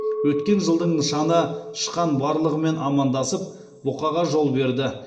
өткен жылдың нышаны тышқан барлығымен амандасып бұқаға жол берді